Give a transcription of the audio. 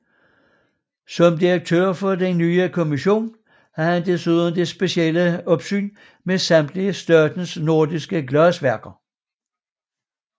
Som direktør i den nye kommission havde han desuden det specielle opsyn med samtlige statens norske glasværker